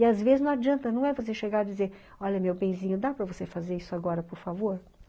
E às vezes não adianta, não é você chegar e dizer, olha, meu benzinho, dá para você fazer isso agora, por favor?